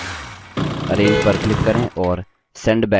arrange पर click करें और send backward चुनें